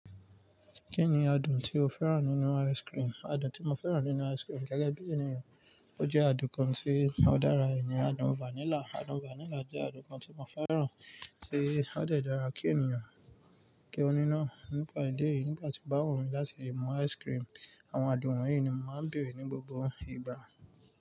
Kí ni adùn tí o fẹ́ràn nínú ice cream? Adùn tí mo fẹ́ràn nínú ice cream gẹ́gẹ́ bí ènìyàn, ó jẹ́ adùn kan tí ó dára ìyẹn adùn vanilla. Adùn vanilla jẹ́ adùn kan tí mo fẹ́ràn tí ó de dára kí ènìyàn kí ó ní ná. Nípa idí eyìí, nígbà tío bá wù mí láti mú ice cream, àwọn adùn wọ̀nyí ni mo máa ń bèrè ní gbogbo ìgbà.